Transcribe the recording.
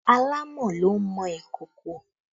Àlámọ̀ ló ń mọ ìkòkò